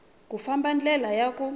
ku fambisa ndlela ya ku